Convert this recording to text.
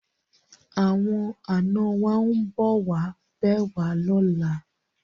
Awon ana wa nbo wa be wa lola